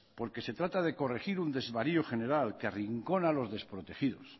porque se trata de corregir un desvarío general que arrincona a los desprotegidos